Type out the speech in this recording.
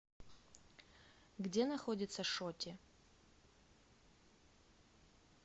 где находится шоти